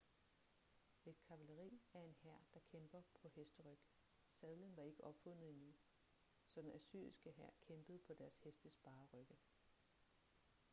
et kavaleri er en hær der kæmper på hesteryg sadlen var ikke opfundet endnu så den assyriske hær kæmpede på deres hestes bare rygge